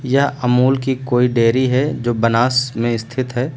यह अमूल की कोई डेयरी है जो बनास में स्थित है।